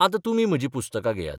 आतां तुमी म्हजी पुस्तकां घेयात.